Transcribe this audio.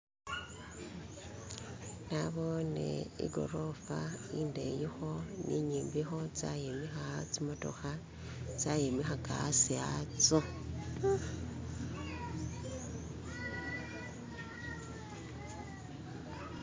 nabone igoroofa indeyikho ni inyimbikho tsayimikha tsimotokha tsaimikhaka aasi atsyo